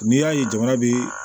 N'i y'a ye jamana bi